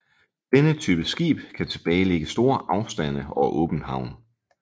Denne type skib kan tilbagelægge store afstande over åbent havn